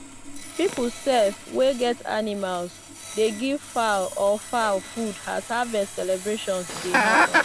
people sef wey get animals dey give fowl or fowl food as harvest celebrations dey happen.